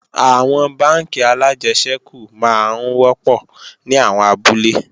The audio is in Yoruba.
Àwọn bánkì alájẹsẹ́kù máa ń wọ́pọ̀ ní àwọn abúlé